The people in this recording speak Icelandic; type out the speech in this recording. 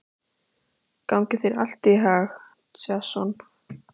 Gangi þér allt í haginn, Jason.